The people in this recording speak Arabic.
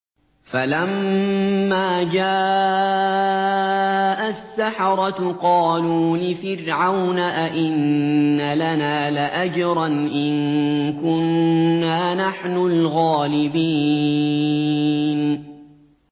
فَلَمَّا جَاءَ السَّحَرَةُ قَالُوا لِفِرْعَوْنَ أَئِنَّ لَنَا لَأَجْرًا إِن كُنَّا نَحْنُ الْغَالِبِينَ